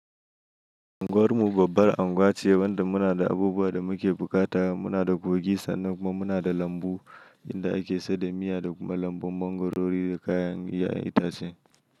Anguwar mu babbar anguwa ce wanda muna da abubuwa da muke buƙata. Muna da kogi sannan kuma muna da lambu inda ake saida miya da kuma lambun mangwarori da kayan 'ya'yan itace.